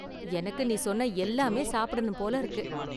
எனக்கு நீ சொன்ன எல்லாமே சாப்பிடணும் போல இருக்கு.